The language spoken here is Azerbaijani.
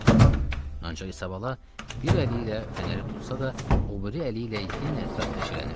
Ancaq İsabala bir əli ilə fənəri tutsa da, o biri əli ilə yenə ətrafda eşələnirdi.